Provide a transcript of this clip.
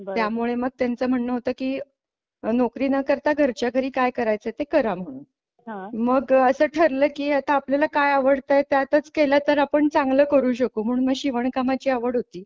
त्यामुळे मग त्यांचं म्हणणं होतं की नोकरी न करता घरच्या घरी काय करायचे ते करा म्हणून मग असं ठरलं की आता आपल्याला काय आवडते त्यातच केल तर आपण चांगलं करू शकतो म्हणून मग शिवणकामाची आवड होती.